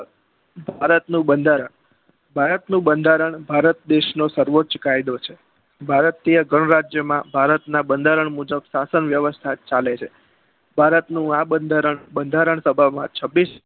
ભારત નું બંધારણ ભારત દેસ નો સર્વોચ્ય કાયદો છે. ભારતીય ગણ રાજ્યો માં ભારતના બંધારણ મુજબ શાસન વ્યવસ્તા ચાલે છે. ભારત નું આ બંધારણ બંધારણ સભામાં છવ્વીસ